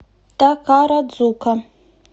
такарадзука